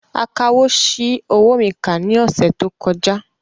Akawò ṣi owó mi kà ní ọ̀sẹ̀ tó kọjá